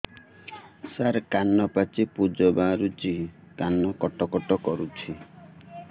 ସାର କାନ ପାଚି ପୂଜ ବାହାରୁଛି କାନ କଟ କଟ କରୁଛି